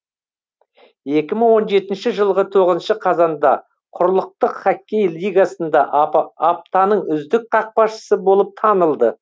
жылғы қазанда құрлықтық хоккей лигасында аптаның үздік қақпашысы болып танылды